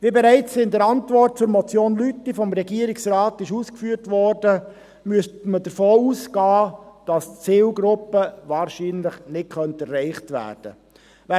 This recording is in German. Wie bereits in der Antwort zur Motion Lüthi vom Regierungsrat ausgeführt wurde, müsste man davon ausgehen, dass die Zielgruppe wahrscheinlich nicht erreicht werden könnte.